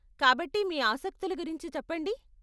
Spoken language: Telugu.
కాబట్టి మీ ఆసక్తుల గురించి చెప్పండి.